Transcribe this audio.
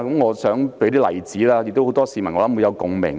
我想舉一些例子，相信很多市民會有共鳴。